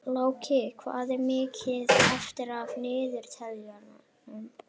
Láki, hvað er mikið eftir af niðurteljaranum?